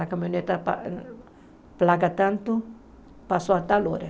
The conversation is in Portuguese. A caminhoneta pla placa tanto, passou a tal hora.